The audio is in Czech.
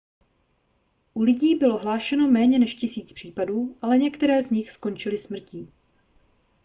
u lidí bylo hlášeno méně než tisíc případů ale některé z nich skončily smrtí